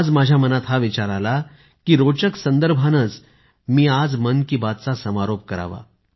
आज माझ्या मनात हा विचार आला कि रोचक संदर्भानेच मी आज आपली आजची मन कि बात समाप्त करावी